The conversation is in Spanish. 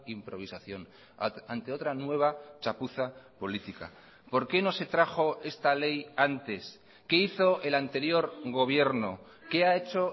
improvisación ante otra nueva chapuza política por qué no se trajo esta ley antes qué hizo el anterior gobierno qué ha hecho